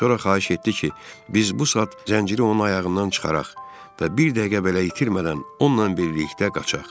Sonra xahiş etdi ki, biz bu saat zənciri onun ayağından çıxaraq və bir dəqiqə belə itirmədən onunla birlikdə qaçaq.